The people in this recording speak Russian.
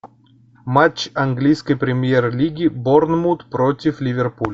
матч английской премьер лиги борнмут против ливерпуль